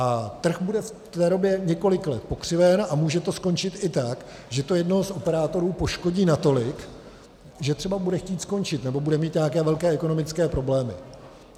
A trh bude v té době několik let pokřiven a může to skončit i tak, že to jednoho z operátorů poškodí natolik, že třeba bude chtít skončit nebo bude mít nějaké velké ekonomické problémy.